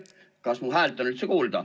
Kas mu häält on kuulda?